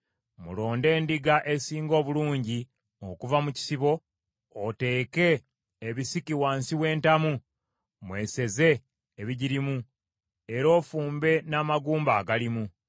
mulonde endiga esinga obulungi okuva mu kisibo, Oteeke ebisiki wansi w’entamu, mweseze ebigirimu, era ofumbe n’amagumba agalimu.